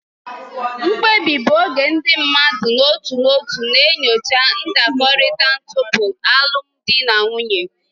Mkpebi bụ oge ndị mmadụ n'otu n'otu na-enyocha ndakọrịta tupu alụmdi na nwunye.